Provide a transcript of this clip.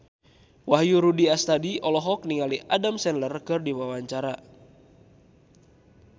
Wahyu Rudi Astadi olohok ningali Adam Sandler keur diwawancara